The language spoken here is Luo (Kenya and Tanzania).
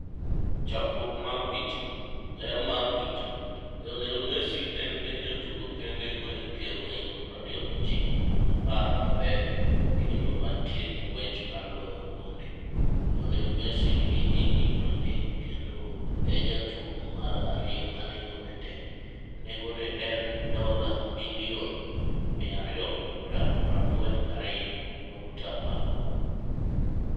Chakruok mar picha, Getty Images. Ler mar picha, Lionel Messi en e jatugo kende mahike ohingo 29 kuom 10 mabeyo kendo mantie gi ng'wech mar loyo gonde. Lionel Messi nigi higni 30 kendo e jatugo mar ariyo ma nengo ne tek , nego ne en $242.8m?